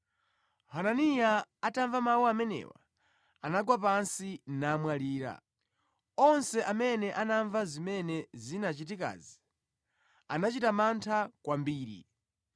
Hananiya atamva mawu amenewa anagwa pansi namwalira. Onse amene anamva zimene zinachitikazi anachita mantha kwambiri.